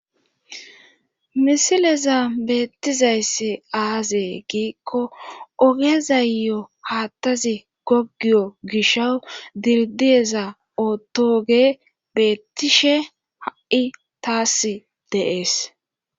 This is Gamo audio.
misileza beettizayssi aazee giikko ogezayyo haattazi gogiyo gisha dildiyeza ootooge beettishe ha7i taas deees